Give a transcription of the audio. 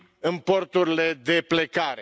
în porturile de plecare.